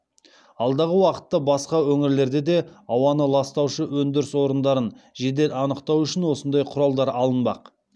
алдағы уақытта басқа өңірлерде де ауаны ластаушы өндіріс орындарын жедел анықтау үшін осындай құралдар алынбақ